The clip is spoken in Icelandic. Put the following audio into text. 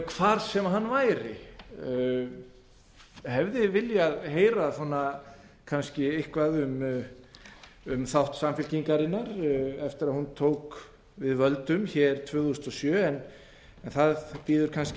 hvar sem hann væri ég hefði viljað heyra kannski eitthvað um þátt samfylkingarinnar eftir að hún tók við völdum hér tvö þúsund og sjö en það bíður kannski